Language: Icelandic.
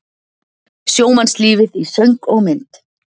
Sjómannslífið í söng og mynd